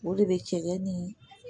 O de bɛ cɛ ni